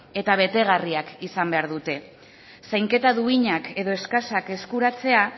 eta betegarria izan behar dute zainketa duinak edo eskasak eskuratzea